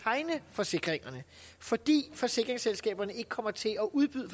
tegne forsikringerne fordi forsikringsselskaberne ikke kommer til at udbyde